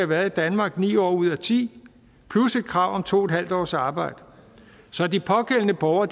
været i danmark i ni år ud af ti år plus et krav om to en halv års arbejde så de pågældende borgere